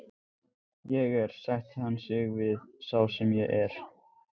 Ég er, sætti hann sig við, sá sem ég er.